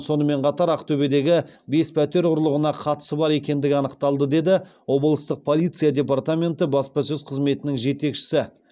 сонымен қатар ақтөбедегі бес пәтер ұрлығына қатысы бар екендігі анықталды деді облыстық полиция департаменті баспасөз қызметінің жетекшісі